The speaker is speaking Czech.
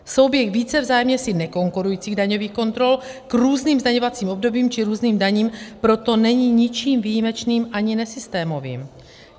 Souběh více vzájemně si nekonkurujících daňových kontrol k různým zdaňovacím obdobím či různým daním proto není ničím výjimečným ani nesystémovým.